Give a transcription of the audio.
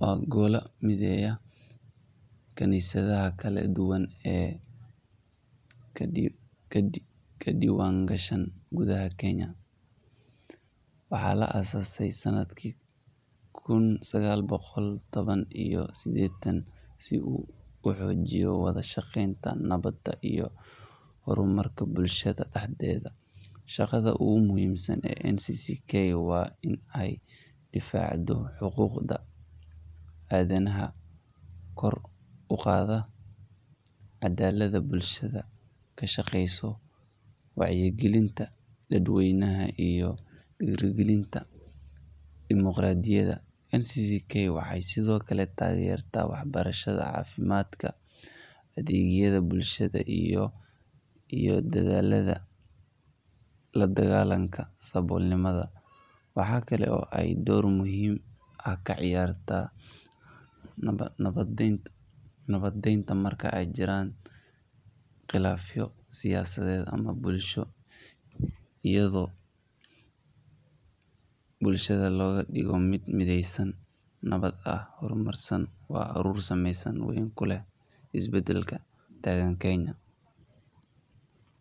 waa golo mideya ah kanisadaha kala duwan ee kadiwan gashan gudaha Kenya waaxa la asaase sanadkii kun sagal boqol tawan iyo sidedkii sii uu uxoojiiyo wada shaqeynta nawaadda iyo hormaka bulashadda daxdeeda shaqaadha ugu muhimsan ee NCCK waain ee difacdo xuquqda adanaha kor uqadho cadalada bulshada ka shaqeyso wacyagilinta daad weynaha iyo dirigilinta demuqradiiyada NCCK waxay sidhoo kale tagertabwaxbarashaadda cafimad adegyada bulshada iyo dadhalada la digalanka sabolnimada waxa kale ee dor muhiman ka ciyarta nawadinta marka eey jiraan qilaafo siyaasadde ama bulsho iyadho bulshadda loga diigo mid midheysan nawadda ah hormarsan oo aruris sameysan isbadaalka taagan Kenya